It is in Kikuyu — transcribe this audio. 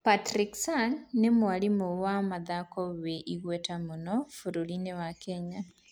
Patrick Sang nĩ mwarimũ wa mathako wĩ igweta mũno bũrũri-inĩ wa Kenya.